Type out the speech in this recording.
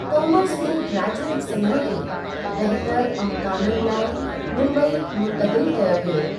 Commerce में graduate Sinha खे बहितर अमकानन लाइ मुम्बई मुंतक़िल कयो वियो।